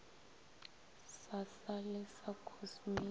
sa sa lee la khosmiki